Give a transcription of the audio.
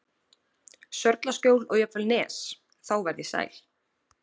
Sörlaskjól og jafnvel Nes, þá varð ég sæl.